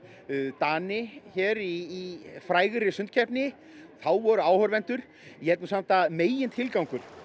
Dani í frægri sundkeppni þá voru áhorfendur ég held samt að megintilgangur